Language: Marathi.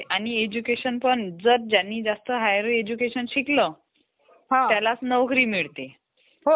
मला तुझ्याकडून माहिती पाहिजे तर कॉम्प्युटरचे कोणकोणते पार्टस असतात?